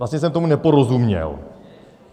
Vlastně jsem tomu neporozuměl.